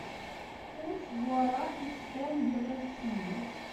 курс гуарани к тенге в россии